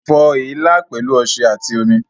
Fọ èélá pẹ̀lú ọṣẹ àti omi